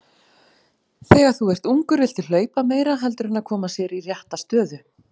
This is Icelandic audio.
Þegar þú ert ungur viltu hlaupa meira heldur en að koma sér í rétta stöðu.